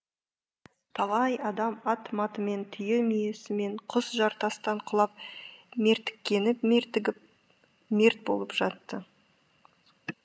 талай адам ат матымен түйе мүйесімен құз жартастан құлап мертіккені мертігіп мерт болып жатты